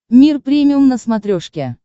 мир премиум на смотрешке